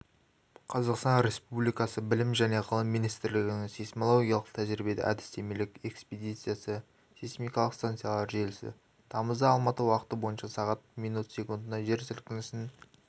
қазақстан республикасы білім және ғылым министрлігінің сейсмологиялық тәжірибе-әдістемелік экспедициясы сейсмикалық станциялар желісі тамызда алматы уақыты бойынша сағат минут секундта жер сілкінісін